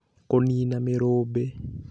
Kũniina Mĩrumbĩ